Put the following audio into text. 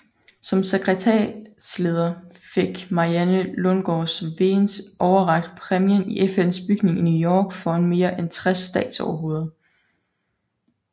Som sekretariatsleder fik Marianne Lundsgaard Wegens overrakt præmien i FNs bygning i New York foran mere end 60 statsoverhoveder